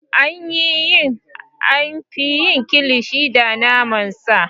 An fi yin Kilishi da naman sa.